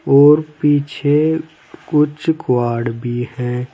और पीछे कुछ क्वाड भी हैं।